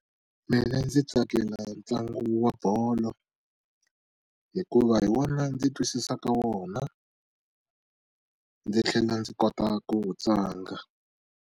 Mina ndzi tsakela ntlangu wa bolo hikuva hi wona ndzi twisisaka wona ndzi tlhela ndzi kota ku wu tlanga.